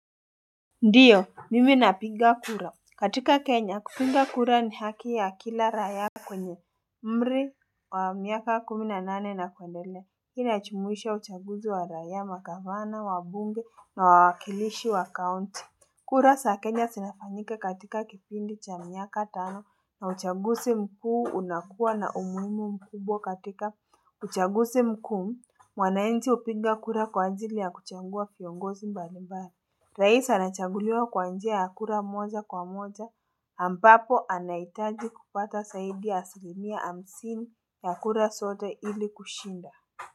Ndiyo mimi napiga kura katika kenya kupiga kura ni haki ya kila raia kwenye umri wa miaka kumi na nane na kuendelea hii inajumuisha uchaguzi wa raia magavana wabunge na wawakilishi wa kaunti kura za kenya zinafanyika katika kipindi cha miaka tano na uchaguzi mkuu unakuwa na umuhimu mkubwa katika uchaguzi mkuu mwanainchi upiga kura kwa ajili ya kuchagua viongozi mbali mbali Rais anachanguliwa kwa njia ya kura moja kwa moja ambapo anahitaji kupata zaidi asilimia hamsini ya kura sote ili kushinda.